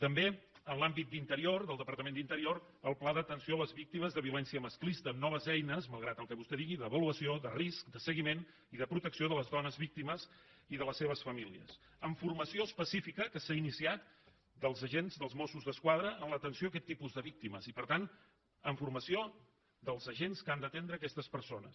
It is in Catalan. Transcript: també en l’àmbit d’interior del departament d’interior el pla d’atenció a les víctimes de violència masclista amb noves eines malgrat el que vostè digui d’avaluació de risc de seguiment i de protecció de les dones víctimes i de les seves famílies amb formació específica que s’ha iniciat dels agents dels mossos d’esquadra en l’atenció a aquest tipus de víctimes i per tant amb formació dels agents que han d’atendre aquestes persones